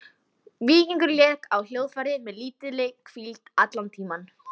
Víkingur lék á hljóðfærið með lítilli hvíld allan tímann.